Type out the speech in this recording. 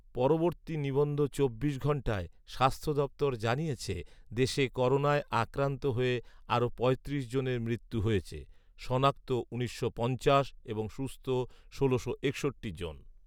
পরবর্তী নিবন্ধ চব্বিশ ঘণ্টায় স্বাস্থ্য দফতর জানিয়েছে, দেশে করোনায় আক্রান্ত হয়ে আরও পঁয়ত্রিশ জনের মৃত্যু হয়েছে। শনাক্ত উনিশশো পঞ্চাশ এবং সুস্থ ষোলোশো একষট্টি জন